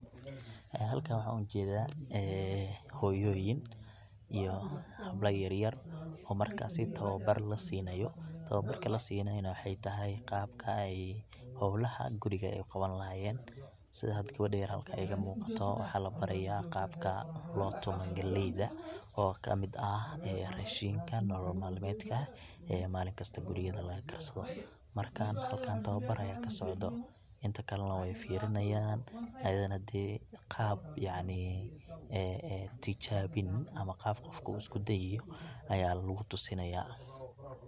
Halkan waxan ujedaa ee hoyooyin iyo habla yaryar oo markasi tababar la siinayo, tabarka laasinayo waxay tahay qabka ay howlaha guriga uu qaban lahayeen, sida hada gabadha yar halka iga muuqato waxaa la baraya qabka loo tumo galeyda oo kamid ah ee rashinka nolol malmedka ee malin kasta gurigeeda laga karsado, marka halkan tababr aya kasocdo inta kale na way firinayan ayadana dee qaab yacni een in tijaabin ama qab qofku uu isku deiyo aya lugu tusinaya.